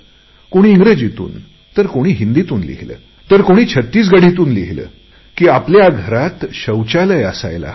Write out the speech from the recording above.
कोणी इंग्रजीतून तर कोणी हिंदीतून लिहिली तर कोणी छत्तीसगढीतून लिहिले की आपल्या घरात शौचालय असायला हवे